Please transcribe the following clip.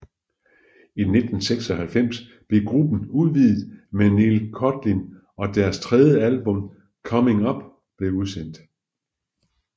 I 1996 blev gruppen udvidet med Neil Codling og deres tredje album Coming Up blev udsendt